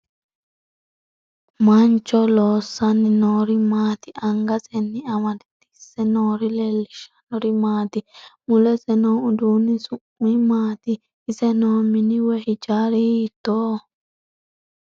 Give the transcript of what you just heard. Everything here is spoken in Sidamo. Mancho loosanni noori maati angasenni amadse noori leelishanori maati mulese noo uduuni su'mi maati ise noo mini woyi hijaari hiitooho